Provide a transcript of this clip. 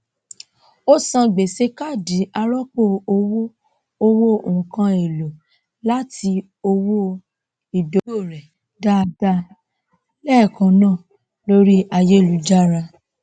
ó san gbèsè káàdì arọpọ owó owó nkán èlò àti owó ìdógò rẹ dáadáa lẹẹkan náà lórí ayélujára